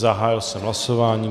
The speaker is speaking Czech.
Zahájil jsem hlasování.